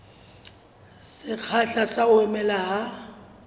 sekgahla sa ho mela ha